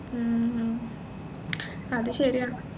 A ഉം അത് ശരിയാ